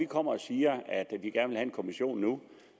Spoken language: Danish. kommer og siger at vi gerne nedsat en kommission